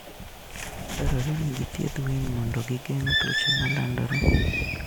Dwarore ni githiedh winy mondo gigeng' tuoche ma landore.